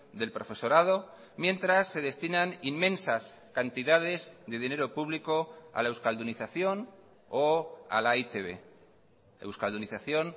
del profesorado mientras se destinan inmensas cantidades de dinero público a la euskaldunización o a la e i te be euskaldunización